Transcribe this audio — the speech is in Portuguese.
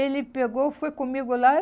Ele pegou, foi comigo lá.